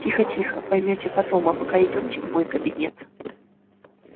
тихо тихо поймёте потом а пока идёмте в мой кабинет